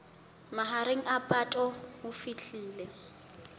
mahareng a phato ho fihlela